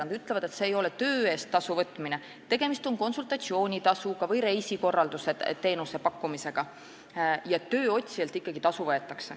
Nad ütlevad, et see ei ole töö eest tasu võtmine, tegemist on konsultatsioonitasuga või reisikorraldusteenuse pakkumisega, ja ikkagi võetakse tööotsijalt tasu.